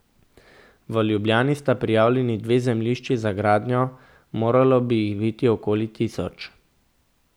V Ljubljani sta prijavljeni dve zemljišči za gradnjo, moralo bi jih biti okoli tisoč.